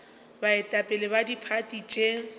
baetapele ba diphathi tše di